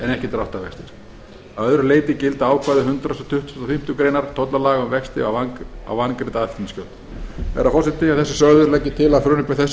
ekki dráttarvextir að öðru leyti gilda ákvæði hundrað tuttugasta og fimmtu greinar tollalaga um vexti á vangreidd aðflutningsgjöld herra forseti að þessu sögðu legg ég til að frumvarpi þessu